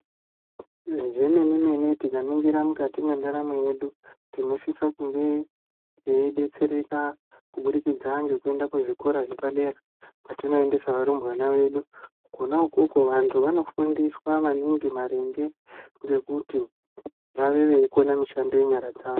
Zvemene-mene tikakaningira mukati mwendaramo yedu tinosisa kuve teidetsereka kubudikidza ngekuenda kuzvikora zvepadera kwatinoendesa varumbwana vedu. Kona ukoko vantu vanofundiswa maningi maringe ngekuti vave veikona mishando yenyara dzavo.